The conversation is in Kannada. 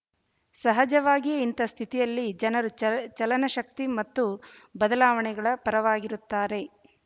ಸಹಜವಾಗಿಯೇ ಇಂತಹ ಸ್ಥಿತಿಯಲ್ಲಿ ಜನರು ಚ ಚಲನಶೀಲತೆ ಮತ್ತು ಬದಲಾವಣೆಗಳ ಪರವಾಗಿರುತ್ತಾರೆ